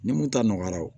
Ni mun ta nɔgɔyara o